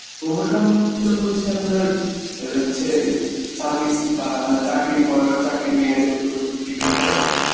promotion তো হচ্ছে আপনার অ্যাঁ হচ্ছে service বা আপনার চাকরির পর চাকরির মেয়াদের ওপর depend করে